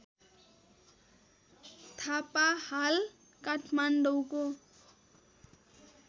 थापा हाल काठमाडौँको